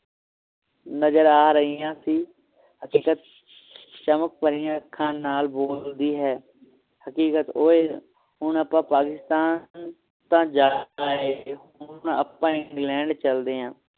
ਨਜਰ ਆ ਰਹੀਆਂ ਸੀ ਹਕੀਕਤ ਚਮਕ ਭਰੀਆਂ ਅੱਖਾਂ ਨਾਲ ਬੋਲਦੀ ਹੈ ਹਕੀਕਤ ਓਏ ਹੁਣ ਆਪਾਂ ਪਾਕਿਸਤਾਨ ਤਾ ਜਾ ਆਏ ਤੇ ਹੁਣ ਆਪਾਂ ਇੰਗਲੈਂਡ ਆਪਾਂ ਚਲਦੇ ਆ